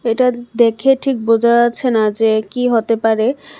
এটা দেখে ঠিক বোঝা যাচ্ছে না যে কি হতে পারে।